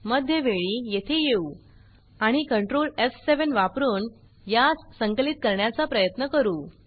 मध्यवेळी येथे येऊ आणि कंट्रोल एफ7 वापरुन यास संकलित करण्याचा प्रयत्न करू